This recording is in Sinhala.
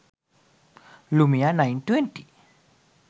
lumia 920